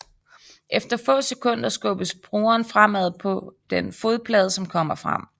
Efter få sekunder skubbes brugeren fremad på den fodplade som kommer frem